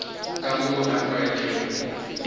ka moo a tlwaetšego go